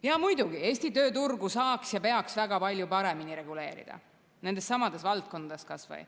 Jaa, muidugi, Eesti tööturgu saaks paremini reguleerida ja peaks väga palju paremini reguleerima, nendessamades valdkondades kas või.